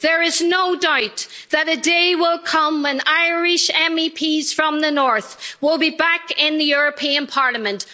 There is no doubt that the day will come when Irish MEPs from the north will be back in the European Parliament.